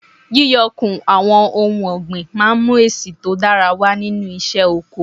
Yíyọ kùn àwọn ohun ọ̀gbìn máa mú èsì tó dára wà nínú isé oko